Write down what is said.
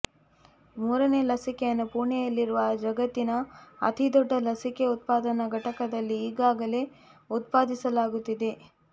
ಮೂರನೇ ಲಸಿಕೆಯನ್ನು ಪುಣೆಯಲ್ಲಿರುವ ಜಗತ್ತಿನ ಅತಿದೊಡ್ಡ ಲಸಿಕೆ ಉತ್ಪಾದನಾ ಘಟಕದಲ್ಲಿ ಈಗಾಗಲೇ ಉತ್ಪಾದಿಸಲಾಗುತ್ತಿದೆ